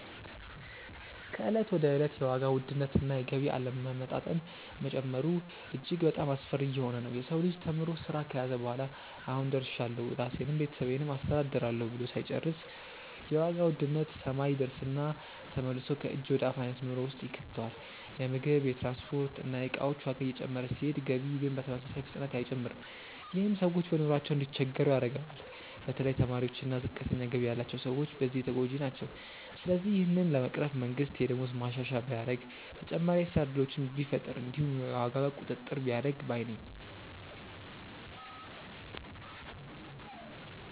ከእለት ወደ እለት የዋጋ ውድነት እና የገቢ አለመመጣጠን መጨመሩ እጅግ በጣሞ አስፈሪ እየሆነ ነዉ። የሰው ልጅ ተምሮ ስራ ከያዘ በኋላ "አሁን ደርሻለሁ ራሴንም ቤተሰቤንም አስተዳድራለሁ" ብሎ ሳይጨርስ የዋጋ ውድነት ሰማይ ይደርስና ተመልሶ ከእጅ ወደ አፍ አይነት ኑሮ ውስጥ ይከተዋል። የምግብ፣ የትራንስፖርት እና የእቃዎች ዋጋ እየጨመረ ሲሄድ ገቢ ግን በተመሳሳይ ፍጥነት አይጨምርም። ይህም ሰዎች በኑሯቸው እንዲቸገሩ ያደርገዋል። በተለይ ተማሪዎች እና ዝቅተኛ ገቢ ያላቸው ሰዎች በዚህ ተጎጂ ናቸው። ስለዚህ ይህንን ለመቅረፍ መንግስት የደሞዝ ማሻሻያ ቢያደርግ፣ ተጨማሪ የስራ እድሎችን ቢፈጥር እንዲሁም የዋጋ ቁጥጥር ቢያደርግ ባይ ነኝ።